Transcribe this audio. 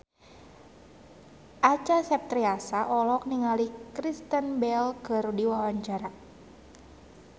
Acha Septriasa olohok ningali Kristen Bell keur diwawancara